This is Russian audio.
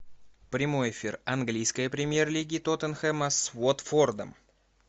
прямой эфир английской премьер лиги тоттенхэма с уотфордом